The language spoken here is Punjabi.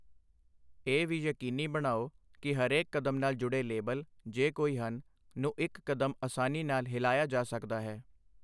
ਇਹ ਵੀ ਯਕੀਨੀ ਬਣਾਓ ਕਿ ਹਰੇਕ ਕਦਮ ਨਾਲ ਜੁੜੇ ਲੇਬਲ, ਜੇ ਕੋਈ ਹਨ, ਨੂੰ ਇਕ ਕਦਮ ਅਸਾਨੀ ਨਾਲ ਹਿਲਾਇਆ ਜਾ ਸਕਦਾ ਹੈ।